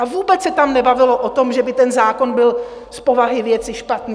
A vůbec se tam nebavilo o tom, že by ten zákon byl z povahy věci špatný.